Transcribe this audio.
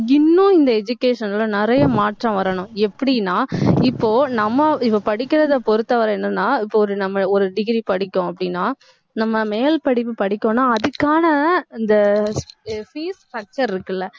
இன்னும் இந்த education ல நிறைய மாற்றம் வரணும். எப்படின்னா இப்போ, நம்ம இப்ப படிக்கிறதை பொறுத்தவரை என்னன்னா இப்போ ஒரு, நம்ம ஒரு degree படிப்போம் அப்படின்னா நம்ம மேல் படிப்பு படிக்கணும்னா அதுக்கான அந்த அஹ் fees structure இருக்குல்ல